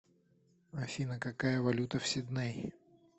афина какая валюта в сидней